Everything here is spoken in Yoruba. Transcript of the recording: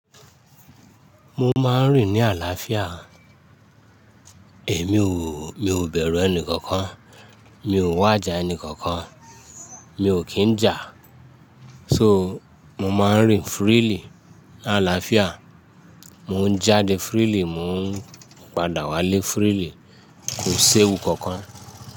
Mo máa ń rìn ní àlàáfíà, èmi ò, mi ò bẹ̀rù ẹni kankan, mi ò wàjà ẹni kankan, mi ò kín ń jà. So, mo máa ń rìn freely ní àlàáfíà, mò ń jáde freely, mò ń padà wálé freely, kò séwu kankan.